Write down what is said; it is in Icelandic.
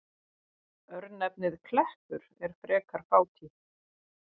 Örnefnið Kleppur er frekar fátítt.